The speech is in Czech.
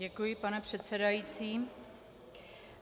Děkuji pane předsedající.